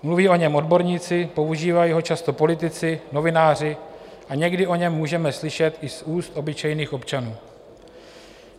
Mluví o něm odborníci, používají ho často politici, novináři a někdy o něm můžeme slyšet i z úst obyčejných občanů.